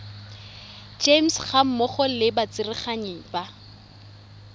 gems gammogo le batsereganyi ba